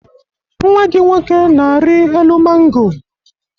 Nnwa gị nwoke na-arị elu mango.